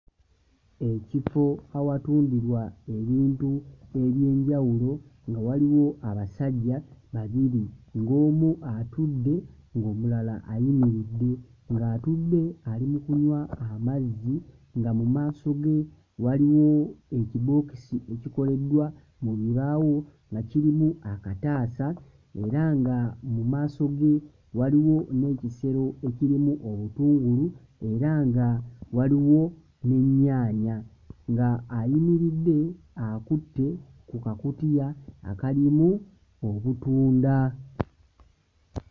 Ekifo awatundirwa ebintu eby'enjawulo nga waliwo abasajja babiri ng'omu atudde omulala ayimiridde, ng'atudde ali mu kunywa amazzi nga mu maaso ge waliwo ekibookisi ekikoledda mu bibaawo nga kirimu akataasa era nga mu maaso ge waliwo n'ekisero ekirimu obutungulu era nga waliwo n'ennyaanya nga ayimiridde akutte ku kakutiya akalimu obutunda.